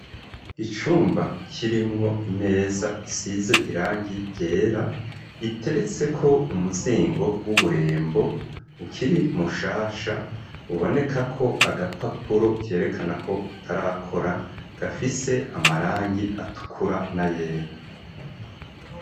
Icumba kirimwo imeza isize irangi ryera iteretse ko umuzingo w'uburembo ukiri mushasha uboneka ko agapapuro kerekana ko utarakora gafise amarangi atukura na yera.